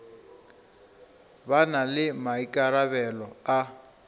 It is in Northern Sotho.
ba na le maikarabelo a